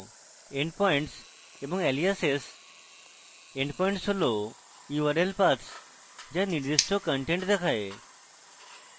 endpoints এবং aliasesendpoints হল url paths যা নির্দিষ্ট content দেখায়